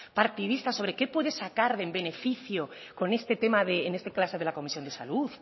partidista sobre qué puede sacar en beneficio con este tema en este caso de la comisión de salud